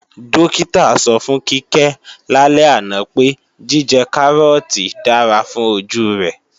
Dókítà sọ fún Kíkẹ́ lálẹ́ àná pé, jíjẹ Kárọ́ọ̀tì dára fún ojú rẹ̀